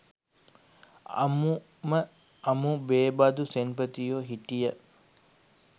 අමුම අමු බේබදු සෙන්පතියෝ හිටිය.